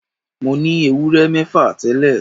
Mo ní ewúrẹ́ mẹ́fà tẹ́lẹ̀